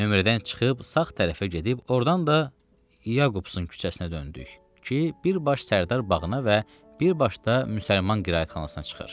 Nömrədən çıxıb sağ tərəfə gedib, ordan da Yaqubson küçəsinə döndük ki, bir baş Sərdar bağına və bir baş da Müsəlman qiraətxanasına çıxır.